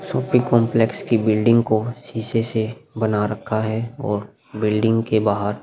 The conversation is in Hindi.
शॉपिंग कोम्प्लेक्स की बिल्डिंग को शीशे से बना रखा है और बिल्डिंग के बाहर --